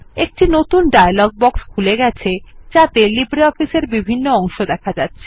একটি নতুন dialog box খুলে গেছে যাতে লিব্রিঅফিস এর বিভিন্ন অংশ দেখা যাচ্ছে